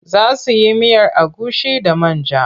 Za su yi miyar agushi da man ja.